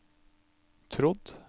trodd